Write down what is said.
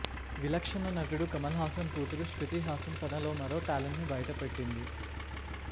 విలక్షణ నటుడు కమల్హాసన్ కూతురు శ్రుతిహాసన్ తనలోని మరో టాలెంట్ను బయటపెట్టింది